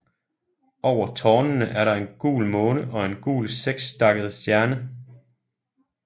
Over tårnene er der en gul måne og en gul sekstakket stjerne